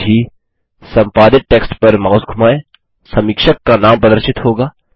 सहज ही संपादित टेक्स्ट पर माउस धुमाएँ समीक्षक का नाम प्रदर्शित होगा